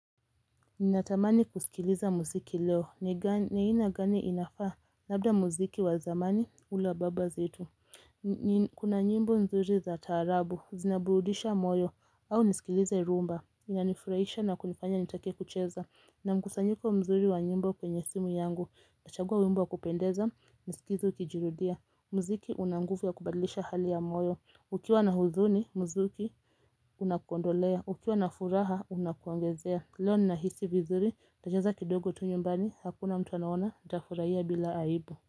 Ninatamani kusikiliza muziki leo, ni aina gani inafaa? Labda muziki wa zamani ule wa baba zetu. Kuna nyimbo nzuri za taarabu, zinaburudisha moyo. Au nisikilize rumba? Inanifurahisha na kunifanya nitake kucheza, nina mkusanyiko mzuri wa nyimbo kwenye simu yangu. Nachagua wimbo wa kupendeza, nisikize ukijirudia. Muziki una nguvu ya kubadilisha hali ya moyo, ukiwa na huzuni muzuki unakuondolea, ukiwa na furaha unakuongezea. Leo ninahisi vizuri ntacheza kidogo tu nyumbani hakuna mtu anaona nitafurahia bila aibu.